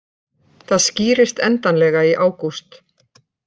Það skýrist endanlega í ágúst